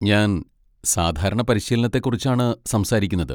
ഞാൻ സാധാരണ പരിശീലനത്തെക്കുറിച്ചാണ് സംസാരിക്കുന്നത്.